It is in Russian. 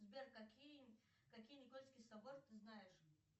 сбер какие какие никольские соборы ты знаешь